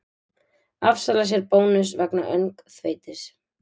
Afsalar sér bónus vegna öngþveitis